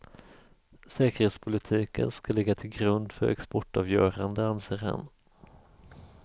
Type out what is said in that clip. Säkerhetspolitiken ska ligga till grund för exportavgörande, anser han.